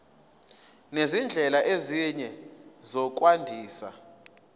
nezindlela ezinye zokwandisa